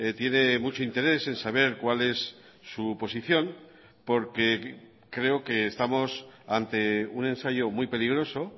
tiene mucho interés en saber cuál es su posición porque creo que estamos ante un ensayo muy peligroso